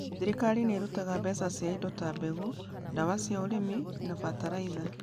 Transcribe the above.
Thirikari nĩ ĩrutaga mbeca cia indo ta mbegũ, ndawa cia urĩmi na bataraitha